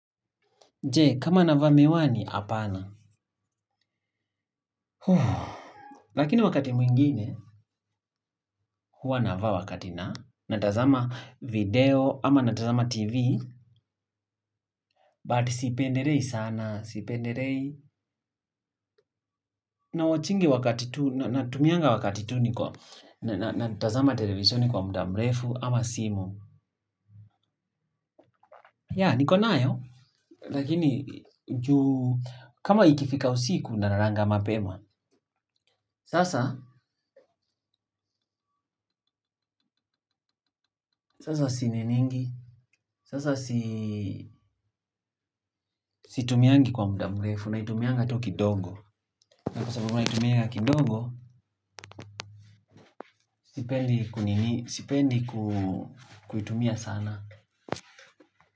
Jee, kama nava miwani, apana. Lakini wakati mwingine, huwa navaa wakati na. Natazama video, ama natazama Tv. But sipendelei sana, sipendelei. Na watchigi wakati tu, natumianga wakati tu, natazama televiseni kwa muda mrefu, ama simu. Ya, nikonayo, lakini juu, kama ikifika usiku, nalalanga mapema. Sasa. Sasa situmiangi kwa muda mrefu na itumianga tu kidogo. Na kwa sababu na itumia kidogo, sipendi kuitumia sana.